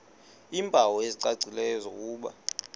iimpawu ezicacileyo zokuba